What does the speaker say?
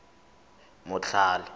motlhale